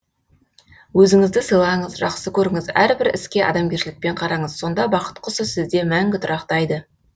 өзіңізді сыйлаңыз жақсы көріңіз әрбір іске адамгершілікпен қараңыз сонда бақыт құсы сізде мәңгі тұрақтайды